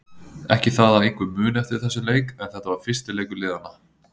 Ekki það að einhver muni eftir þessum leik en þetta var fyrsti leikur liðanna.